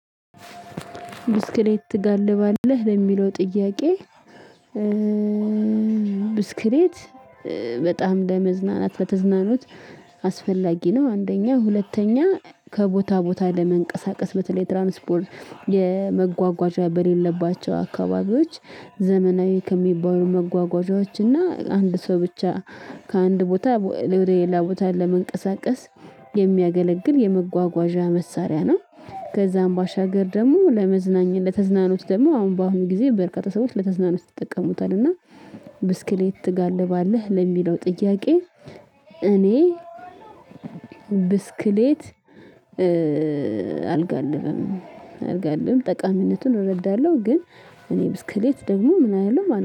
ብስክሌት ትጋልባለህ ለሚለው ጥያቄ? ብስክሌት በጣም ለመዝናናት በተዝናኖት አስፈላጊ ነው። አንደኛ ሁለተኛ ከቦታ ቦታ ለመንቀሳቀስ በተለይ ትራንስፖርት የመጓጓዣ በሌለባቸው አካባቢዎች ዘመናዊ ከሚባሉ መጓጓዣዎች እና አንድ ሰው ብቻ ከአንድ ቦታ ሌላ ቦታ ለመንቀሳቀስ የሚያገለግል የመጓጓዣ መሳሪያ ነው። ከዛም ባሻገር ደግሞ ለመዝናኛ ለተዝናኖት ደግሞ አሁን በአሁኑ ጊዜ በርካታ ሰዎች ለተዝናኖች ይጠቀሙታል እና ብስክሌት ትጋልባለህ ለሚለው ጥያቄ? እኔ ብስክሌት አልጋልብም። አልጋልብም ጠቃሚነቱን እረዳለሁ ግን እኔ ብስክሌት ደግሞ ምን አይደለም